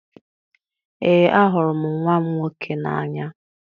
Ee, ahụrụ m nwa m nwoke n'anya